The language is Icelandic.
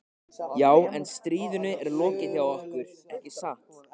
Já, en stríðinu er lokið hjá okkur, ekki satt?